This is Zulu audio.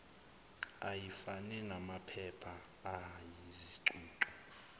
ayifane namaphepha ayizicucu